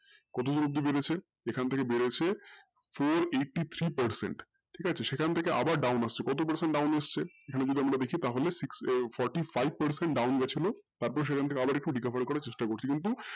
কতো বৃদ্ধি বেড়েছে এখান থেকে বেড়েছে four eighty-three percent ঠিক আছে সেখান থেকে আবার down আসছে কতো percent down আসছে? এখানে যদি আমরা দেখি তাহলে forty-five percent down গেছিলো কিন্তু সেখান থেকে আবার recovery করার চেষ্টা করছি কিন্তু,